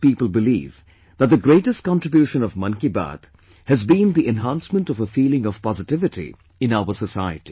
Most people believe that the greatest contribution of 'Mann Ki Baat' has been the enhancement of a feeling of positivity in our society